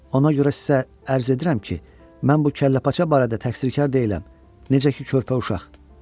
Ona görə sizə ərz edirəm ki, mən bu kəlləpaça barədə təqsirkar deyiləm, necə ki körpə uşaq.